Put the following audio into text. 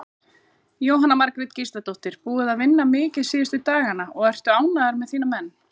Jóhanna Margrét Gísladóttir: Búið að vinna mikið síðustu dagana og ertu ánægður með þína menn?